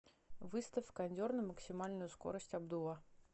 выставь кондер на максимальную скорость обдува